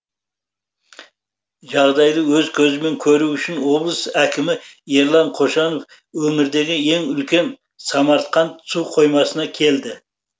жағдайды өз көзімен көру үшін облыс әкімі ерлан қошанов өңірдегі ең үлкен самарқанд су қоймасына келді